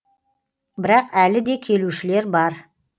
бірақ әлі де келушілер бар